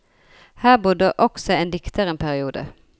Her bodde også dikteren en periode.